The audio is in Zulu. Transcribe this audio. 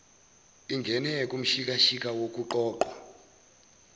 ingene kumshikashika wokuqoqwa